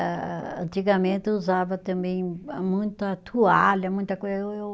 Ah ah, antigamente, eu usava também muita toalha, muita coisa, eu eu